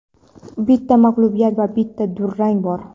bitta mag‘lubiyat va bitta durang bor.